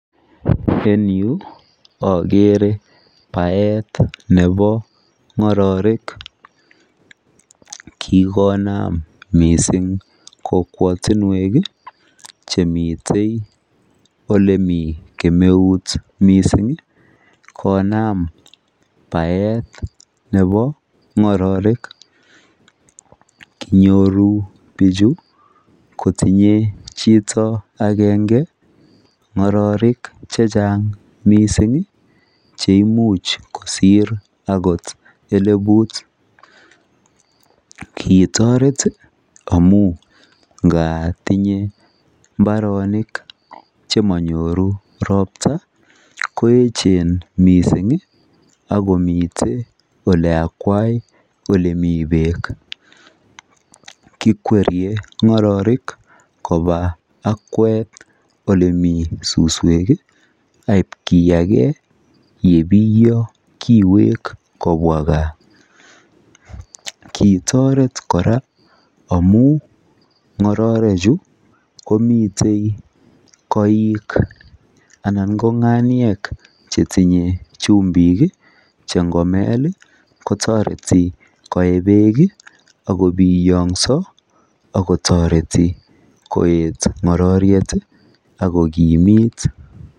En yu akeere baet nebo ng'ororek. Kikonam mising kokwatinwek chemite olemite kemeut konam baet nebo ng'ororek. Tinyei chito agenge ng'ororek chechang mising cheimuch kosiir agot elebut. Kiitoret amu nga tinye mbaronik chemanyoru ropta, koeechen akomite oleakwai olemi beek. Kikwerie ng'ororek koba akwet olemi suswek, aibkiyage yebiiyo kiweek kobwa gaa. Kiitoret kora amu ng'orerechu komite koik anan ko ng'aniek chetinye chumbik che ngomel kotoreti koee beek akobiyong'so akotoreti kokimit.